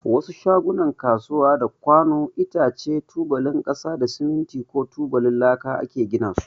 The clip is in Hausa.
Wasu shagunan kasuwa da kwanu, itace, tubalin kasa da siminti ko tubalin laka ake gina su.